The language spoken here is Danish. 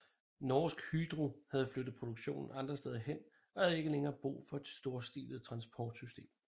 Norsk Hydro havde flyttet produktionen andre steder hen og havde ikke længere brug for et storstilet transportsystem